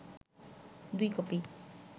দুই কপি